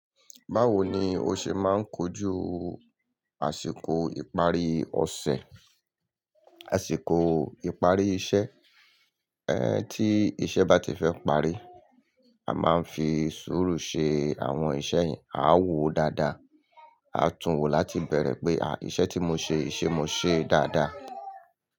Báwo ni o ṣe máa ń kojú àsìkò ìparí ọ̀ṣẹ̀, àsìkò ìparí iṣẹ́? Ẹ, tí iṣẹ́ bá ti fẹ́ parí, a máa ń fi sùúrù ṣe àwọn iṣẹ́ yẹn. A ó wòó dáadáa, a tún wòó láti ibẹ̀rẹ̀ pé, à, iṣẹ́ tí mo ṣe yii, ṣé mo ṣe é dáadáa?